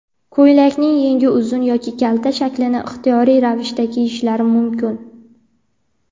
ko‘ylakning yengi uzun yoki kalta shaklini ixtiyoriy ravishda kiyishlari mumkin.